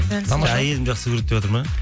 әйелім жақсы көреді деватыр ма